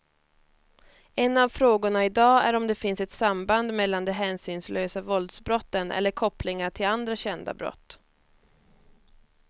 En av frågorna i dag är om det finns ett samband mellan de hänsynslösa våldsbrotten eller kopplingar till andra kända brott.